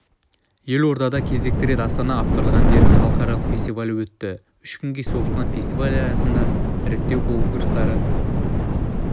елордада кезекті рет астана авторлық әндердің халықаралық фестивалі өтті үш күнге созылған фестиваль аясында іріктеу конкурстары